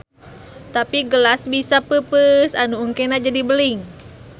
Tapi gelas bisa peupeus anu engkena jadi beling.